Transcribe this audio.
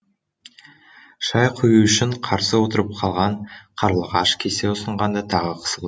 шай құю үшін қарсы отырып қалған қарлығаш кесе ұсынғанда тағы қысылды